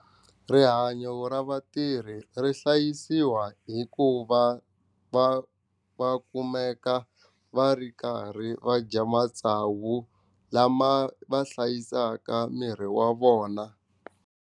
Rihanyo ra vatirhi ri hlayisiwa hi ku va va va kumeka va ri karhi va dya matsavu lama va hlayisaka miri wa vona.